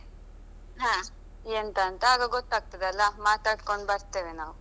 ಎಂತ ಅಂತ ಆಗ ಗೊತ್ತಾಗ್ತದಲಾ ಮಾತಾಡ್ಕೊಂಡು ಬರ್ತೇವೆ ನಾವು.